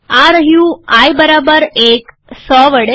આ રહ્યું આઈ બરાબર ૧ ૧૦૦ વડે